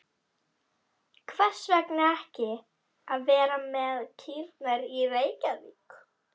Hvers vegna ekki að vera frekar með kýrnar í Reykjavík?